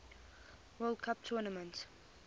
world cup tournament